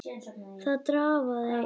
Það drafaði í honum.